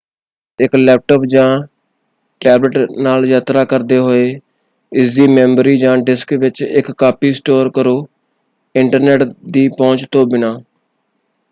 ਇੱਕ ਲੈਪਟਾਪ ਜਾਂ ਟੈਬਲੈੱਟ ਨਾਲ ਯਾਤਰਾ ਕਰਦੇ ਹੋਏ ਇਸਦੀ ਮੈਮੋਰੀ ਜਾਂ ਡਿਸਕ ਵਿੱਚ ਇੱਕ ਕਾਪੀ ਸਟੋਰ ਕਰੋ ਇੰਟਰਨੈੱਟ ਦੀ ਪਹੁੰਚ ਤੋਂ ਬਿਨਾਂ।